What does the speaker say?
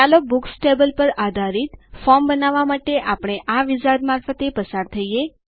ચાલો books table પર આધારિત ફોર્મ બનાવવા માટે આપણે આ વિઝાર્ડ મારફતે પસાર થઈએ